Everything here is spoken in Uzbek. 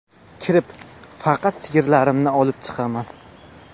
Kirib faqat sigirlarimni olib chiqaman.